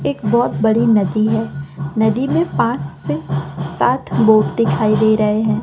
एक बहोत बड़ी नदी है। नदी में पांच से साथ बोट दिखाई दे रहे हैं।